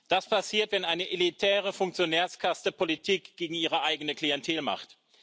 Das passiert, wenn eine elitäre Funktionärskaste Politik gegen ihre eigene Klientel macht.